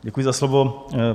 Děkuji za slovo.